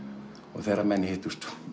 og þegar menn hittust